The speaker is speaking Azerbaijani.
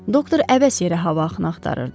Doktor əvəzsiz yerə hava axını axtarırdı.